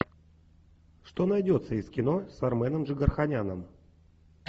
что найдется из кино с арменом джигарханяном